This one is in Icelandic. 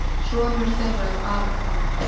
Sonur þeirra er Aron Fannar.